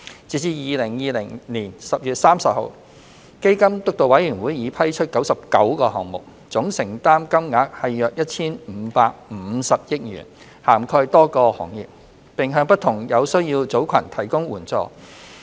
截至2020年10月30日，基金督導委員會已批出99個項目，總承擔金額約 1,550 億元，涵蓋多個行業，並向不同有需要組群提供援助。